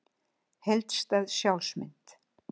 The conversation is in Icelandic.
Heildstæð sjálfsmynd.